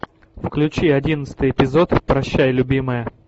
включи одиннадцатый эпизод прощай любимая